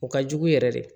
O ka jugu yɛrɛ de